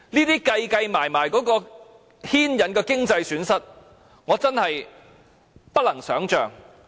凡此種種，在運算後，所牽引的經濟損失，我真的不能想象。